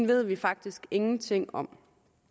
ved vi faktisk ingenting om